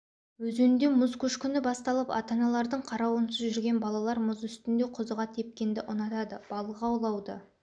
өзенде мұз көшкіні басталып ата-аналардың қарауынсыз жүрген балалар мұз үстінде қызыға тепкенді ұнатады балық аулауды